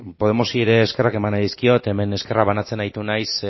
podemosi ere eskerrak emango dizkiot hemen eskerrak banatzen aritu naiz